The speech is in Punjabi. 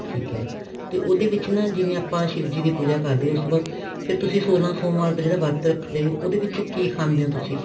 ਠੀਕ ਹੈ ਤੇ ਉਹਦੇ ਵਿੱਚ ਨਾ ਜਿਵੇਂ ਆਪਾਂ ਸ਼ਿਵ ਜੀ ਦੀ ਪੂਜਾ ਕਰਦੇ ਆ ਉਸ ਤੋਂ ਬਾਅਦ ਤੇ ਫ਼ੇਰ ਤੁਸੀਂ ਸੋਲਾਂ ਸੋਮਵਾਰ ਦਾ ਜਿਹੜਾ ਵਰਤ ਰੱਖਦੇ ਉਹਦੇ ਵਿੱਚ ਕੀ ਖਾਂਦੇ ਓ ਤੁਸੀਂ